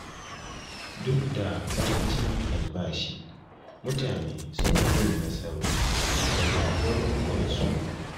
Duk da ƙarancin albashi mutane suna yin nasarori daga garuruwansu